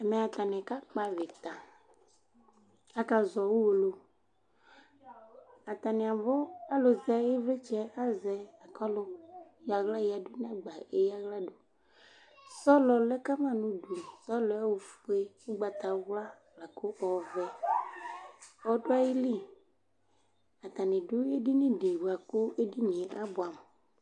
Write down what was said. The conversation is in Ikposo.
Ɛmɛ ,atanɩ ka kpavɩta Akazɔ UwolowuAtanɩ abʋ alʋ zɛ ɩvlɩtsɛ azɛ, akʋ ɔlʋ yɔaɣla yǝdu nɛgba eyǝ aɣla dʋSɔlɔ lɛ kama nʋ udu : sɔlɔɛ ofue, ʋgbatawla lakʋ ɔvɛ ɔdʋ ayili Atanɩ dʋ edini dɩ bʋa kʋ edinie ta bʋɛ amʋ